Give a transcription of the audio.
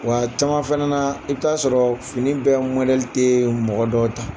Wa a caman fana na, i bɛ t'a sɔrɔ fini bɛ mɔdɛli tɛ mɔgɔ dɔw ta.